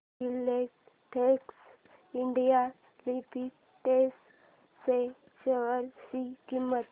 Filatex India limited च्या share ची किंमत